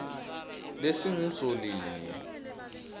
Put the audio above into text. lesingusolinye